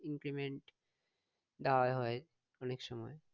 Increment দেওয়ায় হয় অনেকসময়